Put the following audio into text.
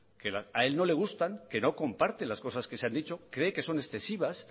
que a él no le gustan que no comparte las cosas que se han dicho cree que son excesivas